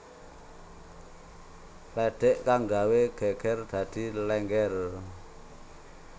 lédhék kang gawé gégér dadi Lénggér